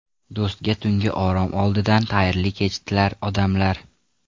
Do‘stga tungi orom oldidan Xayrli kech tilar odamlar.